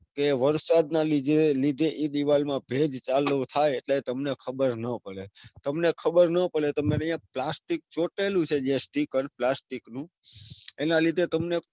કે વરસાદ ના લીધે એ દીવાલ માં ભેજ ચાલુ થાય એટલે તમને ખબર નો પડે. તમને ખબર નો પડે તમને plastic ચોટેલું છે જે sticker plastic નું એના લીધે તમને.